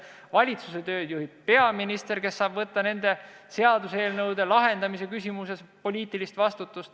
Valitsuse tööd juhib peaminister, kes saab samuti võtta nende seaduseelnõudega seotud küsimustes poliitilise vastutuse.